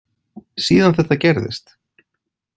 Síðan þetta gerðist.